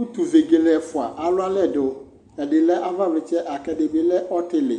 Utu vegele ɛfua alu alɛdu ɛdi lɛ avavlitsɛ kuɛdi lɛ ɔtili atani bi lɛ ɔtili